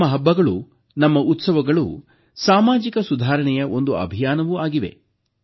ನಮ್ಮ ಹಬ್ಬಗಳು ನಮ್ಮ ಉತ್ಸವಗಳು ಸಾಮಾಜಿಕ ಸುಧಾರಣೆಯ ಒಂದು ಅಭಿಯಾನವೂ ಆಗಿವೆ